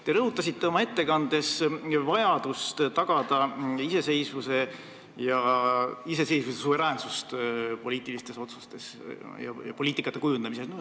Te rõhutasite oma ettekandes vajadust tagada poliitilistes otsustes ja poliitikate kujundamisel iseseisvus ja suveräänsus.